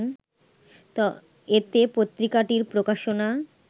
এতে পত্রিকাটির প্রকাশনা